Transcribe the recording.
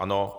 Ano.